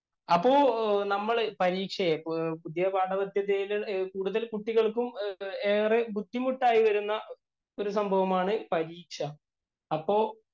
അപ്പൊ നമ്മള് പരീക്ഷയെ, പുതിയ പാഠപദ്ധതിയില്‍ കൂടുതല്‍ കുട്ടികള്‍ക്കും ഏറെ ബുദ്ധിമുട്ടായി വരുന്ന ഒരു സംഭവമാണ് പരീക്ഷ.